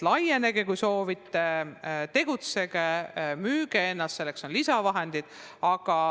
Laienege, kui soovite, tegutsege, müüge ennast, selleks on lisavahendid.